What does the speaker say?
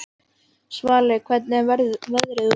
Svali, hvernig er veðrið úti?